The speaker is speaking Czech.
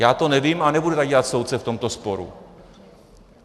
Já to nevím a nebudu tady dělat soudce v tomto sporu.